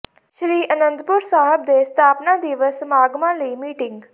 ਸ੍ਰੀ ਆਨੰਦਪੁਰ ਸਾਹਿਬ ਦੇ ਸਥਾਪਨਾ ਦਿਵਸ ਸਮਾਗਮਾਂ ਲਈ ਮੀਟਿੰਗ